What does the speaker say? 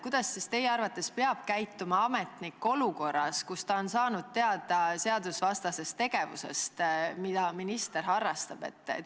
Kuidas teie arvates peab käituma ametnik olukorras, kus ta on saanud teada seadusvastasest tegevusest, mida minister harrastab?